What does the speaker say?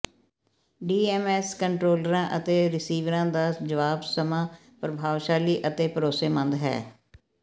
DMS ਕੰਟਰੋਲਰਾਂ ਅਤੇ ਰਿਸੀਵਰਾਂ ਦਾ ਜਵਾਬ ਸਮਾਂ ਪ੍ਰਭਾਵਸ਼ਾਲੀ ਅਤੇ ਭਰੋਸੇਮੰਦ ਹੈ